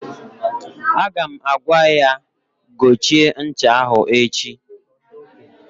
Aga m agwa ya gochie ncha ahụ echi!